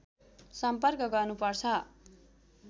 सम्पर्क गर्नुपर्छ